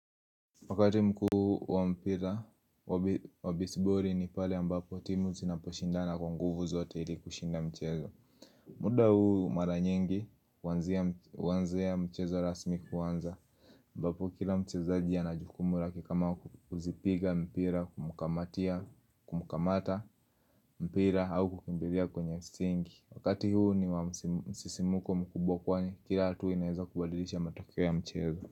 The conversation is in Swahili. Wakati mkuu wa mpira wabisibori ni pale ambapo timu zinaposhindana kwa nguvu zote ili kushinda mchezo muda huu mara nyingi huanzia mchezo rasmi kwanza ambapo kila mchezaji ana jukumu lake kama kuzipiga mpira kumkamatia kumkamata mpira au kukimbilia kwenye singi Wakati huu ni wa msisimuko mkubwa kwani kila hatua inaeza kubadilisha matokeo ya mchezo.